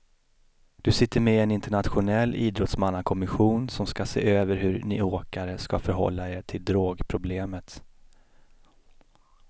Du sitter med i en internationell idrottsmannakommission som ska se över hur ni åkare ska förhålla er till drogproblemet.